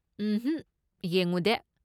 ꯎꯝꯍꯛ, ꯌꯦꯡꯉꯨꯗꯦ꯫